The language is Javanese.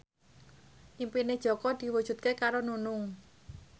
impine Jaka diwujudke karo Nunung